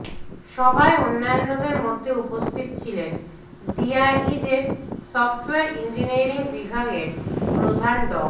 সভায় অন্যান্যের মধ্যে উপস্থিত ছিলেন ডিআইইউ এর সফটওয়্যার ইঞ্জিনিয়ারিং বিভাগের প্রধান ড